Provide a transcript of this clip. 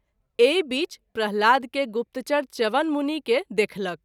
एहि बीच प्रह्लाद के गुप्तचर च्यवन मुनि के देखलक।